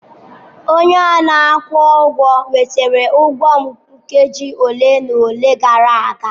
Onye a na-akwụ ụgwọ wetara ụgwọ m nkeji ole na ole gara aga.